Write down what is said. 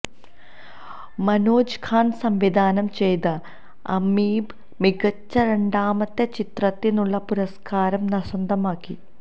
മനോജ് ഖാന സംവിധാനം ചെയ്ത അമീബ മികച്ച രണ്ടാമത്തെ ചിത്രത്തിനുള്ള പുരസ്കാരം സ്വന്തമാക്കി